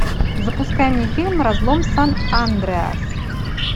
запускай мне фильм разлом сан андреас